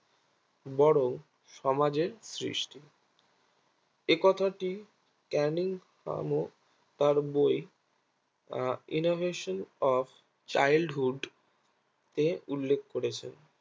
বরং সমাজের সৃষ্টি একথাটি ক্যানিং নামক তার বই আহ innovation of childhood তে উল্লেখ করেছেন